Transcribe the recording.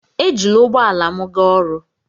Ejila ụgbọ ala m gaa ọrụ.